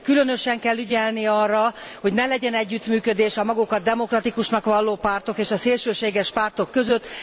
Különösen kell ügyelni arra, hogy ne legyen együttműködés a magukat demokratikusnak valló pártok és a szélsőséges pártok között.